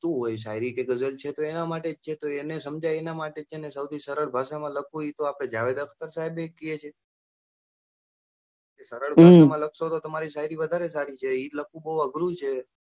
તો શાયરી અને ગઝલ છે તો એના માટે જ છે તો એને સમજાય એના માટે જ છે સૌથી સરળ ભાષામાં લખવું એ તો આપણા જાવેદ અખ્તર સાહેબ એ કહે છે, સરળ ભાષા માં લખશો તો તમારી શાયરી વધારે સારી એમ્ન્મ તો બઉ અઘરી છે.